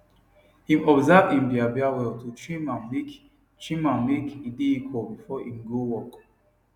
im observe im biabia well to trim ammake trim ammake e dae equal before im go work